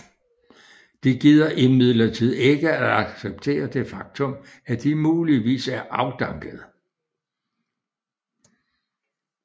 De gider imidlertid ikke at acceptere det faktum at de muligvis er afdankede